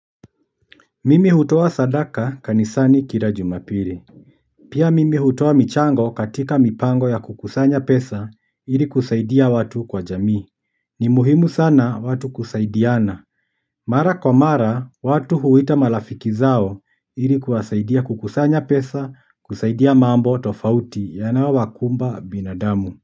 Mimi hutoa sadaka kanisani kila jumapili. Pia mimi hutoa michango katika mipango ya kukusanya pesa ili kusaidia watu kwa jamii. Ni muhimu sana watu kusaidiana. Mara kwa mara, watu huita malafiki zao ili kuwasaidia kukusanya pesa, kusaidia mambo tofauti yanayo wakumba binadamu.